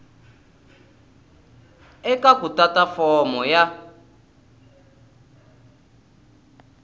eka ku tata fomo ya